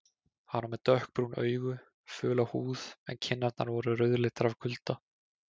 Hann var með dökkbrún augu, föla húð en kinnarnar voru rauðleitar af kulda.